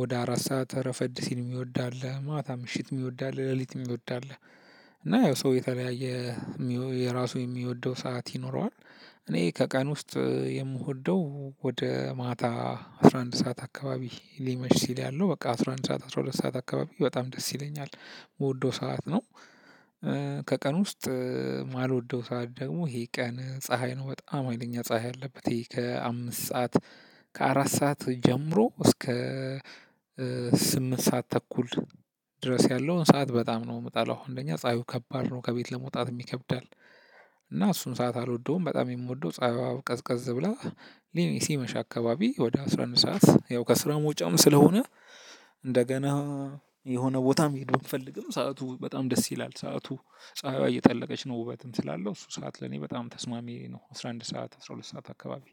ወደ አራት ሰዓት ረፈድ ሲል የሚወድ አለ ማታ ምሽት የሚወድ አለ ሌሊት የሚወድ አለ። እና ያው ሰው የተለያየ የራሱ የሚወደው ሰዓት ይኖረዋል። እኔ ከቀን ውስጥ የምወደው ወደ ማታ አስራ አንድ ሰዓት አካባቢ ሊመሽ ሲል ያለው በቃ አስራ አንድ ሰዓት አስራ ሁለት ሰዓት አካባቢ በጣም ደስ ይለኛል የምወደው ሰዓት ነው። ከቀን ውስጥ የማልወደው ሰዓት ደግሞ ይሄ ቀን ፀሀይ ነው በጣም ሀይለኛ ፀሀይ ያለበት ይሄ ከአምስት ሰዓት። ከአራት ሰዓት ጀምሮ እስከ ስምንት ሰዓት ተኩል ድረስ ያለውን ሰዓት በጣም ነው የምጠላው አንደኛ ፀሀዩ ከባድ ነው ከቤት ለመውጣትም ይከብዳል። እና እሱን ሰዓት አልወደውም በጣም የምወደው ጸሀይዋ ቀዝቀዝ ብላ። ሊ ሲመሻ አካባቢ ወደ አስራ አንድ ሰዓት ያው ከስራ መውጫም ስለሆነ። እንደገና የሆነ ቦታ መሄድ ብንፈልግም ሰዓቱ በጣም ደስ ይላል ሰዓቱ ፀሀይዋ እየጠለቀች ነው ውበትም ስላለው እሱ ሰዓት ለኔ በጣም ተስማሚ ነው። አስራ አንድ ሰዓት አስራ ሁለት ሰዓት አካባቢ።